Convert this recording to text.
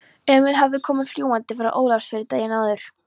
Emil hafði komið fljúgandi frá Ólafsfirði daginn áður.